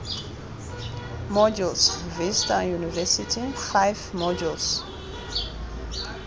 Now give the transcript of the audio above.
modules vista university five modules